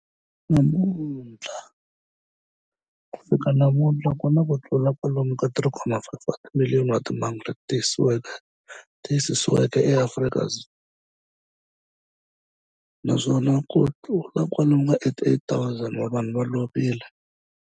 Ku fika namuntlha ku na kutlula kwalomu ka 3.5 wa timiliyoni wa timhangu leti tiyisisiweke eAfrika, naswona kutlula kwalomu ka 88,000 wa vanhu va lovile.